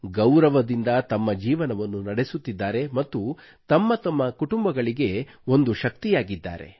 ಗೌರವದಿಂದ ತಮ್ಮ ಜೀವನವನ್ನು ನಡೆಸುತ್ತಿದ್ದಾರೆ ಮತ್ತು ತಮ್ಮ ತಮ್ಮ ಕುಟುಂಬಗಳಿಗೆ ಒಂದು ಶಕ್ತಿಯಾಗಿದ್ದಾರೆ